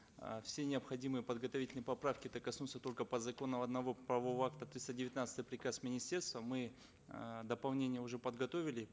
э все необходимые подготовительные поправки это коснутся только по закону одного правового акта триста девятнадцатый приказ министерства мы э дополнения уже подготовили